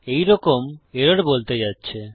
এই রকম এরর বলতে যাচ্ছে